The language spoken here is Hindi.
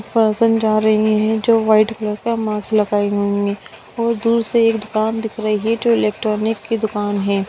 पर्सन जा रही है जो वाइट कलर का मास्क लगाए हुए है और दूर से एक दुकान दिख रही है जो इलेक्ट्रॉनिक की दुकान है।